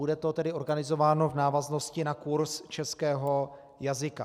Bude to tedy organizováno v návaznosti na kurz českého jazyka.